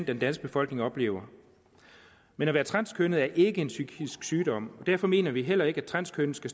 den danske befolkning oplever men at være transkønnet er ikke en psykisk sygdom og derfor mener vi heller ikke at transkønnede skal